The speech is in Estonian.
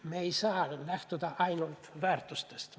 Me ei saa lähtuda ainult väärtustest.